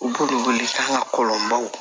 U b'u wele k'an ka kɔlɔnbaw